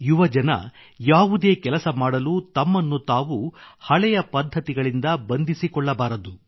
ಯುವಕರು ಯಾವುದೇ ಕೆಲಸ ಮಾಡಲು ತಮ್ಮನ್ನು ತಾವು ಹಳೆಯ ಪದ್ಧತಿಗಳಿಂದ ಬಂಧಿಸಿಕೊಳ್ಳಬಾರದು